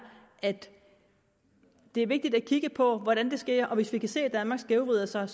at det er vigtigt at kigge på hvordan det sker og hvis vi kan se at danmark skævvrider sig